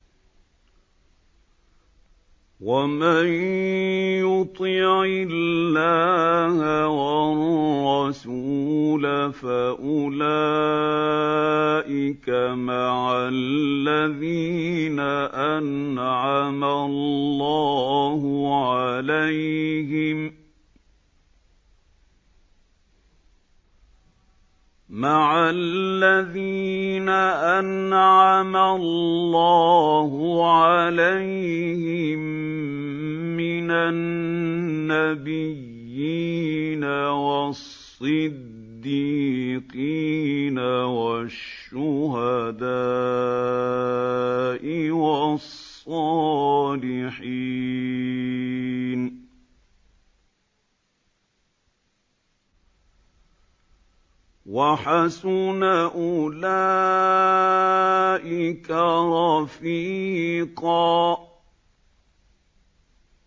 وَمَن يُطِعِ اللَّهَ وَالرَّسُولَ فَأُولَٰئِكَ مَعَ الَّذِينَ أَنْعَمَ اللَّهُ عَلَيْهِم مِّنَ النَّبِيِّينَ وَالصِّدِّيقِينَ وَالشُّهَدَاءِ وَالصَّالِحِينَ ۚ وَحَسُنَ أُولَٰئِكَ رَفِيقًا